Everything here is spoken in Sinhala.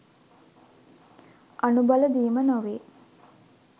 අනුබල දීම නොවේ